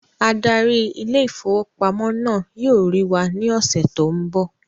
Adarí ile-ìfowópamó náà yóò rí wà ní ọsẹ tó n bọ